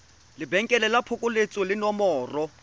lebenkele la phokoletso le nomoro